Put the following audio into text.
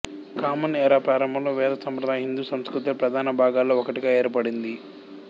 common era ప్రారంభంలో వేద సంప్రదాయం హిందూ సంస్కృతిలో ప్రధాన భాగాలలో ఒకటిగా ఏర్పడింది